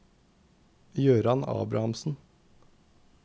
Gøran Abrahamsen